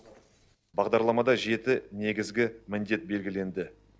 бағдарламада жеті негізгі міндет белгіленді